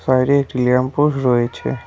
বাইরে একটি lamp post রয়েছে।